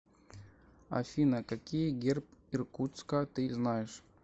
афина какие герб иркутска ты знаешь